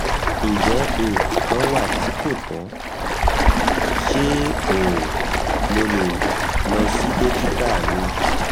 njẹ nkan kan wa ti ko tọ? ṣe um mo le lọ si dokita mi?